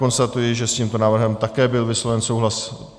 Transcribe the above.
Konstatuji, že s tímto návrhem také byl vysloven souhlas.